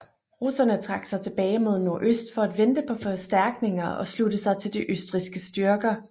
Russerne trak sig tilbage mod nordøst for at vente på forstærkninger og slutte sig til de østrigske styrker